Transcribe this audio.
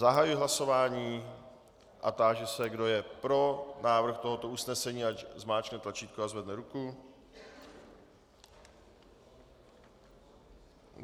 Zahajuji hlasování a táži se, kdo je pro návrh tohoto usnesení, ať zmáčkne tlačítko a zvedne ruku.